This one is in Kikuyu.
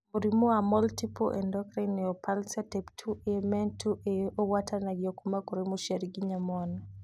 Mũrimũ wa Multiple endocrine neoplasia type 2A (MEN 2A) ũgwatanagio kuma kũrĩ mũciari nginya mwana